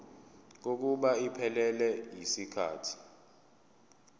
kokuba iphelele yisikhathi